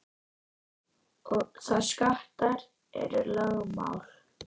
Það og skattar eru lögmál.